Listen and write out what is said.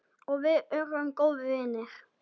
Og við urðum góðir vinir.